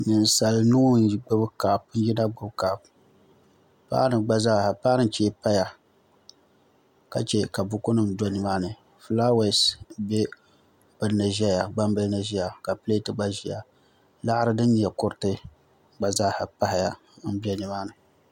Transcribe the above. Ninsal nuu n yina gbubi kaap paanu chee paya ka chɛ ka buku nim do nimaani fulaawaasi bɛ gbambili ni ʒɛya ka pileet gba ʒiya laɣari din nyɛ kuriti gba zaa pahaya n bɛ nimaani